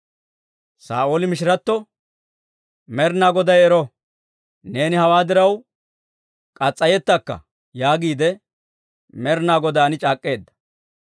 Saa'ooli mishiratto, «Med'inaa Goday ero! Neeni hawaa diraw murettakka» yaagiide Med'inaa Godaan c'aak'k'eedda.